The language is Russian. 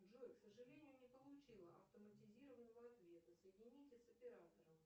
джой к сожалению не получила автоматизированного ответа соедините с оператором